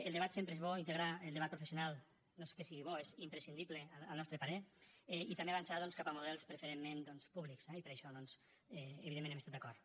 el debat sempre és bo integrar el debat professional no és que sigui bo és que és imprescindible al nostre parer i també avançar cap a models preferentment públics eh i per això doncs evidentment hem estat d’acord